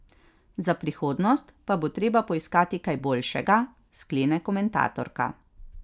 Za prihodnost pa bo treba poiskati kaj boljšega, sklene komentatorka.